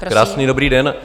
Krásný dobrý den.